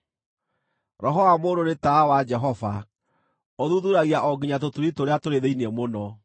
Roho wa mũndũ nĩ tawa wa Jehova, ũthuthuuragia o nginya tũturi tũrĩa tũrĩ thĩinĩ mũno.